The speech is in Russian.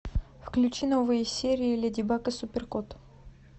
включи новые серии леди баг и супер кот